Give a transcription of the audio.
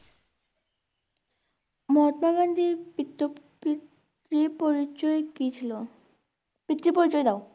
মহাত্মা গান্ধীর পৃতো~পি পি~পরিচয় কি ছিল পিতৃ পরিচয় দাও